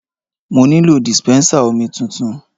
Mo nílò dispensa omi tuntun.